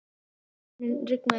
Koldís, mun rigna í dag?